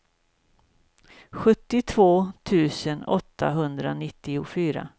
sjuttiotvå tusen åttahundranittiofyra